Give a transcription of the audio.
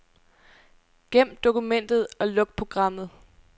Gem dokumentet og luk programmet.